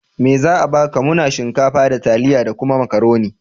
Me za a baka? Muna shinkafa, da taliya da kuma Makaroni.